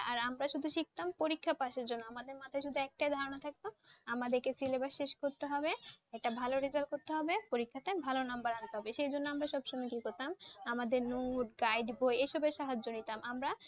আর আমরা শুধু শিখতাম পরীক্ষা পাশের জন্য আমাদের মাথায় শুধু একটাই ধারণা থাকতো আমাদেরকে Syllabus শেষ করতে হবে, একটা ভালো Result করতে হবে পরীক্ষাতে ভালো Number আনতে হবে। সেই জন্য আমরা সব সময় কি করতাম আমাদের Note Guide বই এসবের সাহায্য নিতাম আমরা